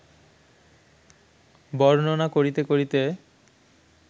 বর্ণনা করিতে করিতে